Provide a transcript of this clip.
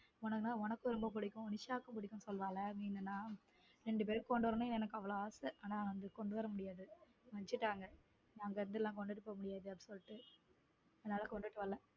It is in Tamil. உனக்கும் ரொம்ப பிடிக்கும் நிஷாவுக்கும் பிடிக்கும்னு சொல்லுவாங்க மீன் எல்லாம் இரண்டு பேருக்கும் கொண்டு வரணும்னு எனக்கு அவ்வளவு ஆசை ஆனால் கொண்டு வர முடியாது வச்சுட்டாங்க நாங்க அங்க இருந்துலாம் கொண்டுட்டு போக முடியாது அதனால கொண்டுட்டு வரல.